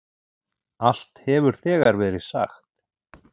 Allt hefur þegar verið sagt.